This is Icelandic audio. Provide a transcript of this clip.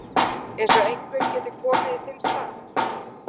Eins og einhver geti komið í þinn stað.